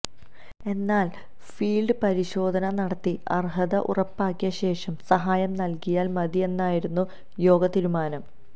എന്നാല് ഫീല്ഡ് പരിശോധന നടത്തി അര്ഹത ഉറപ്പാക്കിയ ശേഷം സഹായം നല്കിയാല് മതിയെന്നായിരുന്നു യോഗതീരുമാനം